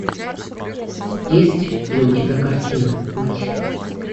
есть ли у тебя картина мать